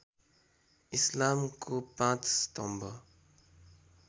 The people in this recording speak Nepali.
इस्लामको ५ स्तम्भ